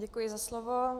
Děkuji za slovo.